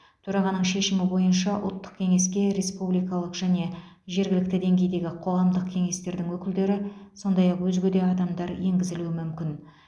төрағаның шешімі бойынша ұлттық кеңеске республикалық және жергілікті деңгейдегі қоғамдық кеңестердің өкілдері сондай ақ өзге де адамдар енгізілуі мүмкін